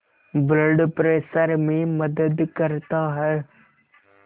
blood pressure में मदद करता है